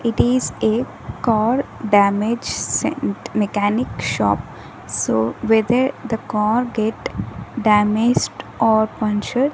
it is a car damage sent mechanic shop so whether the car get damaged or punctured --